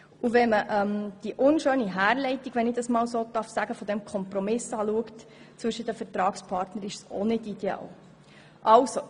Und wenn man die unschöne Herleitung, wenn ich das einmal so sagen darf, dieses Kompromisses zwischen den Vertragspartnern anschaut, ist es auch nicht ideal.